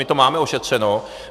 My to máme ošetřeno.